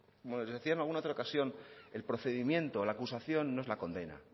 como les decía en alguna otra ocasión el procedimiento la acusación no es la condena